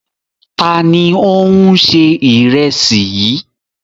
Ta ni ó ń se ìrẹsì yìí?